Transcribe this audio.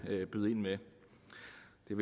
jeg